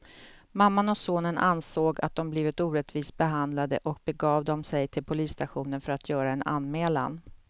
Mamman och sonen ansåg att de blivit orättvist behandlade och begav de sig till polisstationen för att göra en anmälan.